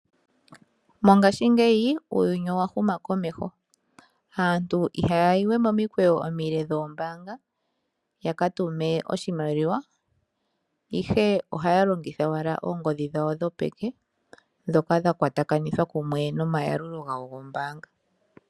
Mongashingeyi uuyuni owa huma komeho. Aantu ihaya yiwe momikweyo omile dhoombaanga ya katume oshimaliwa ihe ohaya longitha owala oongodhi dhawo dhopeke ndhoka dha kwatakanithwa kumwe nomayalulo gawo gombaanga.